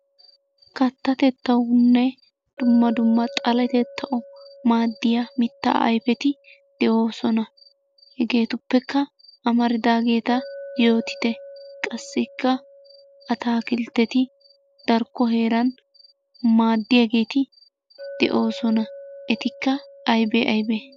Kattatettawunne dumma dumma xaletettawu maaddiya mittaa ayifeti de'oosona. Hegeetuppekka amaridaageeta yootite. Qassikka atakiltteti darkko heeran maaddiyageeti de'oosona. Etikka ayibee ayibee?